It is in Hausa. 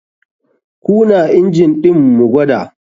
KUna injin ɗin mu gwada.